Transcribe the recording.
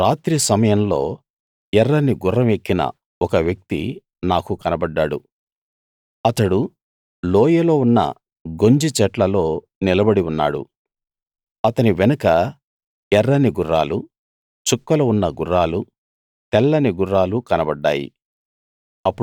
రాత్రి సమయంలో ఎర్రని గుర్రం ఎక్కిన ఒక వ్యక్తి నాకు కనబడ్డాడు అతడు లోయలో ఉన్న గొంజి చెట్లలో నిలబడి ఉన్నాడు అతని వెనుక ఎర్రని గుర్రాలు చుక్కలు ఉన్న గుర్రాలు తెల్లని గుర్రాలు కనబడ్డాయి